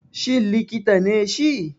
Shin likita ne shi?